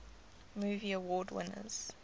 movie award winners